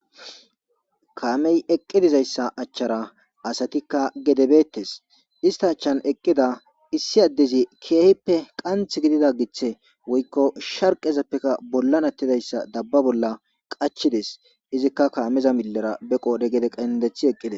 Kameyi eqi dizayisa achchara asati gede beteteesi isita achchani eqida issi adezi kehippe qaniththi gidida giththe woyikko shariqeppekka bolani atizayisa qulia bola qachchidees izikka kameza milera ba qodhe gede qenideththi eqideesi